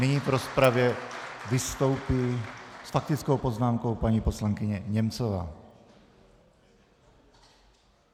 Nyní v rozpravě vystoupí s faktickou poznámkou paní poslankyně Němcová.